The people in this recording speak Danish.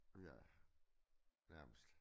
Ja nærmest